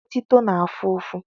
Otito na-afụ ụfụ.